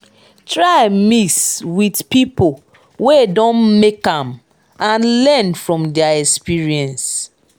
try mix with pipo wey don make am and learn from their experience